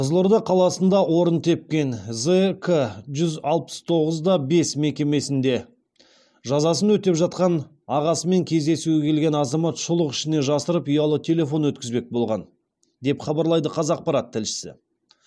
қызылорда қаласында орын тепкен зк жүз алпыс тоғыз да бес мекемесінде жазасын өтеп жатқан ағасымен кездесуге келген азамат шұлық ішіне жасырып ұялы телефон өткізбек болған деп хабарлайды қазақпарат тілшісі